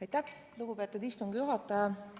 Aitäh, lugupeetud istungi juhataja!